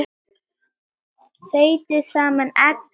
Þeytið saman egg og sykur.